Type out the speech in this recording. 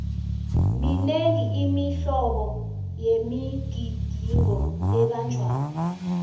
minengi imihlobo yemigidingo ebanjwako